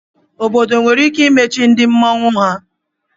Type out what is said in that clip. Obodo nwere ike imachi ndị mmọnwu ha.